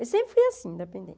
Eu sempre fui assim,